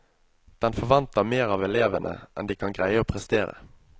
Den forventer mer av elevene enn de kan greie å prestere.